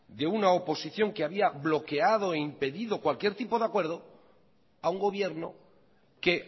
de una oposición que había bloqueado e impedido cualquier tipo de acuerdo a un gobierno que